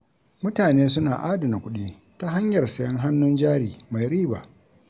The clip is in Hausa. Mutane suna adana kuɗi ta hanyar sayen hannun jari mai riba.